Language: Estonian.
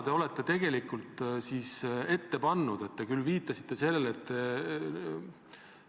Tema probleem on alguse saanud aastal 2017 ja ta on nendega palju kontaktis olnud, minu esmased kontaktid EAS-iga said alguse 2019. aasta maikuus.